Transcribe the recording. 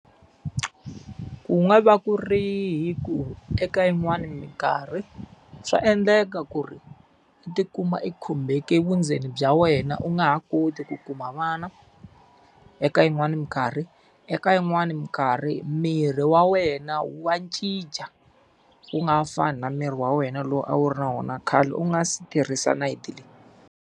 Ku nga va ku ri hi ku eka yin'wani minkarhi swa endleka ku ri u ti kuma ekhumbeke vundzeni bya wena u nga ha koti ku kuma vana. Eka yin'wani minkarhi, eka yin'wani minkarhi miri wa wena wa cinca wu nga ha fani na miri wa wena lowu a wu ri na wona khale u nga si tirhisa nayiti leyi.